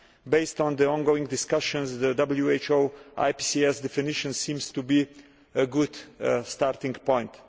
Based on the ongoing discussions, the WHO IPCS definition seems to be a good starting point.